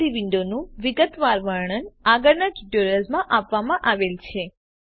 આ બધી વિન્ડો નું વિગતવાર વર્ણન આગળના ટ્યુટોરિયલ્સમાં આપવામાં આવેલ છે